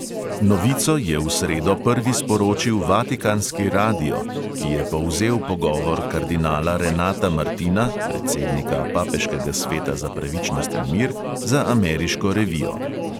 Novico je v sredo prvi sporočil vatikanski radio, ki je povzel pogovor kardinala renata martina, predsednika papeškega sveta za pravičnost in mir, za ameriško revijo.